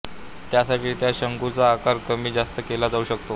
त्यासाठी त्या शंकूचा आकार कमी जास्त केला जाऊ शकतो